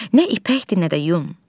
Nə ipəkdir, nə də yun.